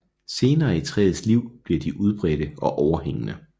Senere i træets liv bliver de udbredte og overhængende